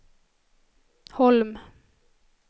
Holm